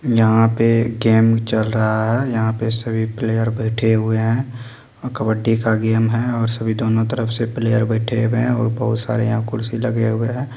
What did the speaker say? यहाँ पे कैम्प चल रहा है यहाँ पे सभी प्लेयर बैठे हुए हैं कबड्डी का गेम है और सभी दोनों तरफ से प्लेयर और बैठे हुए है बहुत सारे यहाँ कुर्सी लगे हुए हैं।